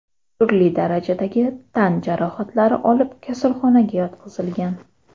turli darajadagi tan jarohatlari olib kasalxonaga yotqizilgan.